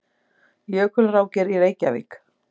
Jökulrákir í Reykjavík.